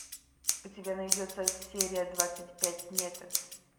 у тебя найдется серия двадцать пять метод